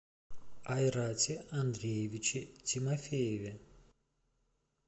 айрате андреевиче тимофееве